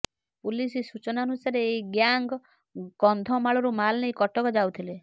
police ସୂଚନାନୁସାରେ ଏହି gang କନ୍ଧମାଳରୁ ମାଲ୍ ନେଇ କଟକ ଯାଉଥିଲେ